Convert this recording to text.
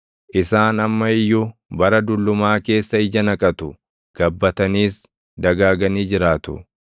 Isaan amma iyyuu bara dullumaa keessa ija naqatu; gabbataniis dagaaganii jiraatu.